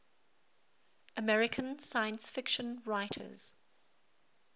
american science fiction writers